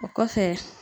O kɔfɛ